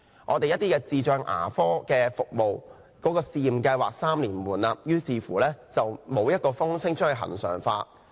智障人士牙科服務的先導計劃3年期滿，但沒有消息指政府會把它恆常化。